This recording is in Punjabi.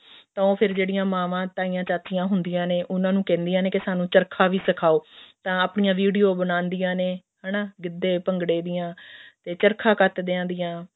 ਤਾਂ ਫ਼ੇਰ ਉਹ ਜਿਹੜੀਆਂ ਮਾਵਾਂ ਤਾਈਆਂ ਚਾਚੀਆਂ ਹੁੰਦੀਆਂ ਨੇ ਉਹਨਾ ਨੂੰ ਕਹਿੰਦਿਆਂ ਨੇ ਵੀ ਸਾਨੂੰ ਚਰਖਾ ਵੀ ਸਿਖਾਓ ਤਾਂ ਆਪਣੀ video ਬਣਾਉਂਦੀਆਂ ਨੇ ਹਨਾ ਗਿੱਧੇ ਭੰਗੜੇ ਦੀਆਂ ਚਰਖਾ ਕੱਤਦੇ ਦੀਆਂ